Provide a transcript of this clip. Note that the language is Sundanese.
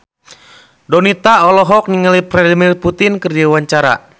Donita olohok ningali Vladimir Putin keur diwawancara